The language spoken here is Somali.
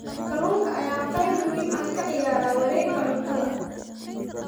Kalluunka ayaa qayb muhiim ah ka ciyaara wareegga cuntada.